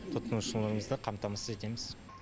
тұтынушымызды қамтамасыз етеміз